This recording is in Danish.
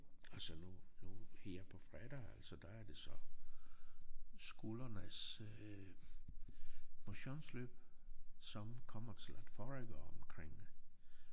Og så nu nu her på fredag altså der er det så skolernes øh motionsløb som kommer til at foregå omkring